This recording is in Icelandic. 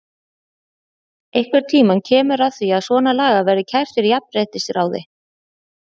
Einhvern tímann kemur að því að svona lagað verður kært fyrir jafnréttisráði.